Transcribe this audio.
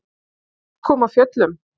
Hann kom af fjöllum.